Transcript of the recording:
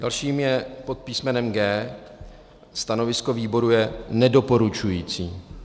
Další je pod písmenem G. Stanovisko výboru je nedoporučující.